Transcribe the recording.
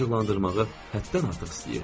Onları acıqlandırmağı həddən artıq istəyirdim.